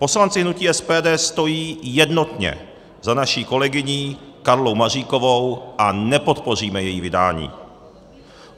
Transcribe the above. Poslanci hnutí SPD stojí jednotně za naší kolegyní Karlou Maříkovou a nepodpoříme její vydání.